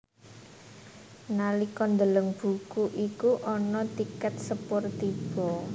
Nalika ndeleng buku iku ana tikèt sepur tiba